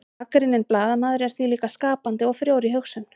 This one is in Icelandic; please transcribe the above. gagnrýninn blaðamaður er því líka skapandi og frjór í hugsun